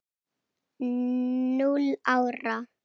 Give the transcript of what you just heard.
Núll ára!